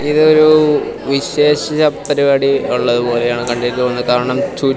ഇത് ഒരു വിശേഷ പരിപാടി ഉള്ളതുപോലെയാണ് കണ്ടിട്ട് തോന്നുന്നത് കാരണം ചു--